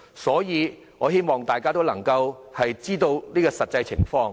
所以，我希望大家認清這實況。